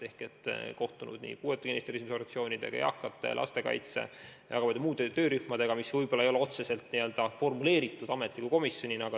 Olen kohtunud puuetega inimeste esindusorganisatsioonidega, eakate ja lastekaitse esindajatega, väga paljude muude töörühmadega, mis võib-olla ei tegutse ametlikult komisjonina.